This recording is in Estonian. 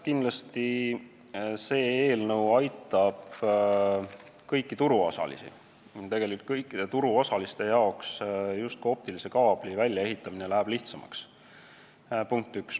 Kindlasti aitab see eelnõu kõiki turuosalisi, sest optilise kaabli väljaehitamine läheb lihtsamaks – punkt üks.